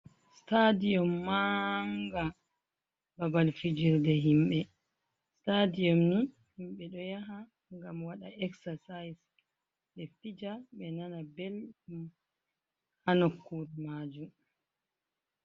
Stadiyum manga ɓaɓal fijirde himɓe, stadium ni himɓe ɗo yaha gam waɗa exercise ,ɓe fija ɓe nana ɓelɗum ha nokure majum.